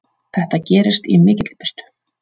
Þetta gerist í mikilli birtu.